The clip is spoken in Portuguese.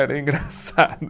Era engraçado.